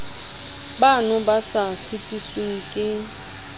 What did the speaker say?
bano ba sa sitisweng ke